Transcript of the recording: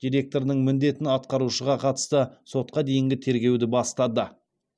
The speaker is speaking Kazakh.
директорының міндетін атқарушыға қатысты сотқа дейінгі тергеуді бастады